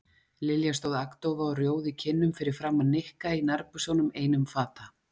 Lilja stóð agndofa og rjóð í kinnum fyrir framan Nikka í nærbuxunum einum fata.